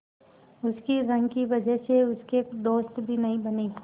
उसकी रंग की वजह से उसके दोस्त भी नहीं बने